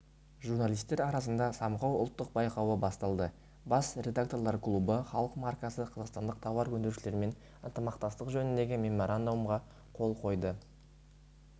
журналистер арасында самғау ұлттық байқауы басталды бас редакторлар клубы халық маркасы қазақстандық тауар өндірушілерімен ынтымақтастық жөніндегі меморандумға қол қойды